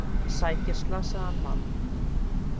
Sækir slasaðan mann